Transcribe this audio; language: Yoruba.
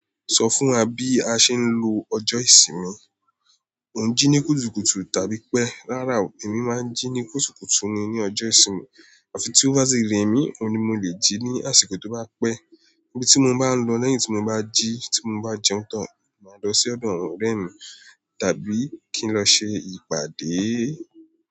Sọ fún wa bí a ṣe ń lo ọjọ́ ìsinmi. O jí ní kùtùkùtù tàbí pẹ́. Rárá o, èmi máa ń jí ní kùtùkùtù ni ní ọjọ́ ìsinmi àfi tí ó bá ṣi rẹ mí, ohun ní mo le jí ní àsìkò tó bá pẹ́. Ibi tí mo bá ń lọ lẹ́yìn tí mo bá jí tí mo bá jẹun tán, màá lọ sí ọ̀dọ̀ ọ̀rẹ́ mi tàbí kí n lọ ṣe ìpàdé.